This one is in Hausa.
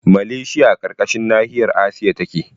Maleshiya a ƙarƙashin nahiyar asiya yake